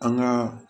An ka